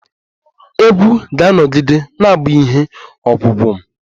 Egwu ga-anọgide na-abu ihe ogwugwo m